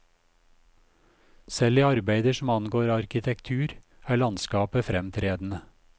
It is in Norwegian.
Selv i arbeider som angår arkitektur, er landskapet fremtredende.